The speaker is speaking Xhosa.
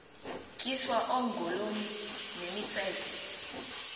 tyiswa oogolomi nemitseke